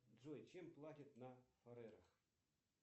джой чем платят на фарерах